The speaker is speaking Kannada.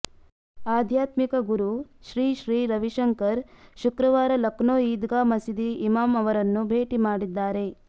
ಆಧ್ಯಾತ್ಮಿಕ ಗುರು ಶ್ರೀ ಶ್ರೀ ರವಿಶಂಕರ್ ಶುಕ್ರವಾರ ಲಕ್ನೋ ಈದ್ಗಾ ಮಸೀದಿ ಇಮಾಮ್ ಅವರನ್ನು ಭೇಟಿ ಮಾಡಿದ್ದಾರೆ